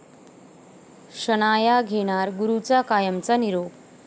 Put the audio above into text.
शनाया घेणार गुरूचा कायमचा निरोप